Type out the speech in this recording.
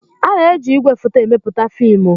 A na-eji igwefoto emepụta fiimu.